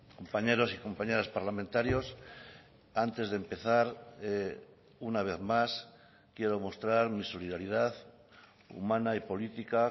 compañeros y compañeras parlamentarios antes de empezar una vez más quiero mostrar mi solidaridad humana y política